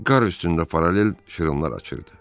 Qar üstündə paralel şırınlar açırdı.